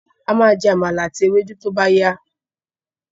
A má jẹ́ Àmàlà àti ewédú tó bá yá